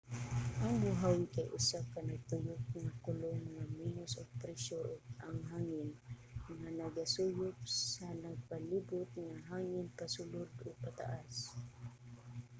ang buhawi kay usa ka nagtuyok nga kolum nga menos og presyur ang hangin nga nagasuyop sa nagpalibot nga hangin pasulod ug pataas